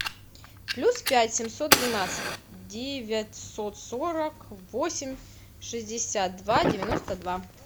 плюс пять семьсот двенадцать девятьсот сорок восемь шестьдесят два девяносто два